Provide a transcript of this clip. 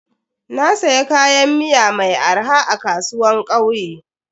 Na siya kayan miya mai arha a kasuwan kauye.